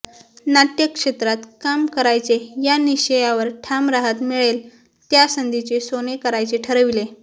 नाट्यक्षेत्रात काम करायचे या निश्चयावर ठाम राहत मिळेल त्या संधीचे सोने करायचे ठरविले